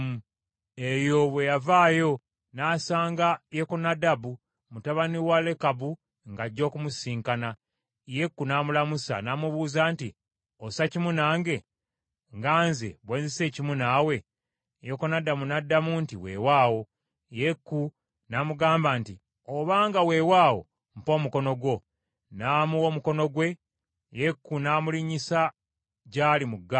Eyo bwe yavaayo, n’asanga Yekonadabu mutabani wa Lekabu ng’ajja okumusisinkana. Yeeku n’amulamusa, n’amubuuza nti, “Ossa kimu nange, nga nze bwe nzisa ekimu naawe?” Yekonadabu n’addamu nti, “Weewaawo.” Yeeku n’amugamba nti, “Obanga weewaawo, mpa omukono gwo.” N’amuwa omukono gwe, Yeeku n’amulinnyisa gy’ali mu ggaali.